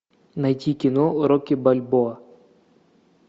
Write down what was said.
найти кино рокки бальбоа